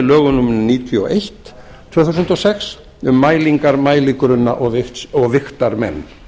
lögum númer níutíu og eitt tvö þúsund og sex um mælingar mæligrunna og vigtarmenn